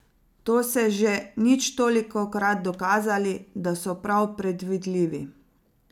To se že nič tolikokrat dokazali , da so prav predvidljivi!